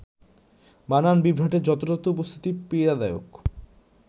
বানান বিভ্রাটের যত্রতত্র উপস্থিতি পীড়াদায়ক